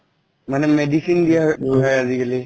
মানে medicine দিয়া হয় আজি কালি